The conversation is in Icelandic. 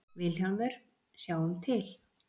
VILHJÁLMUR: Sjáum til?